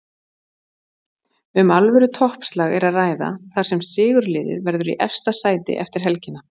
Um alvöru toppslag er að ræða þar sem sigurliðið verður í efsta sæti eftir helgina.